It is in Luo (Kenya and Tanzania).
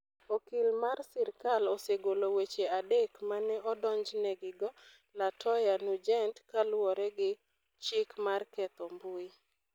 Okil mar sirkal osegolo weche adek ma ne odonjnegigo Latoya Nugent kaluwore gi chik mar ketho mbui.